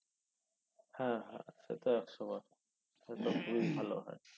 হ্যা সে তো একশোবার তো খুবই ভালো হয়